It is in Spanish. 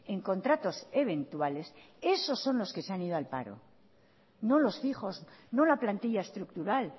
en contratos eventuales esos son los que se han ido al paro no los fijos no la plantilla estructural